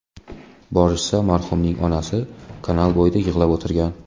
Borishsa, marhumning onasi kanal bo‘yida yig‘lab o‘tirgan.